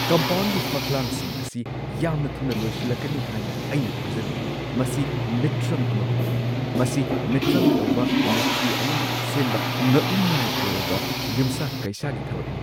ꯀꯝꯄꯥꯎꯟꯒꯤ ꯐꯛꯂꯥꯡꯁꯤꯡ ꯑꯁꯤ ꯌꯥꯝꯅ ꯊꯨꯅ ꯂꯣꯏꯁꯤꯜꯂꯛꯀꯅꯤ ꯍꯥꯏꯅ ꯑꯩꯅ ꯊꯥꯖꯔꯨꯗꯦ – ꯃꯁꯤ ꯃꯤꯇ꯭ꯔꯪ ꯑꯃꯒꯨꯝꯕꯅꯤ! ꯃꯁꯤ ꯃꯤꯇ꯭ꯔꯪ ꯇꯧꯕ ꯃꯤꯁꯇ꯭ꯔꯤ ꯑꯃꯅ ꯁꯦꯝꯕ ꯉꯛꯅꯤꯡꯉꯥꯏ ꯑꯣꯏꯔꯕ ꯌꯨꯝꯁꯥ-ꯀꯩꯁꯥꯒꯤ ꯊꯕꯛꯅꯤ꯫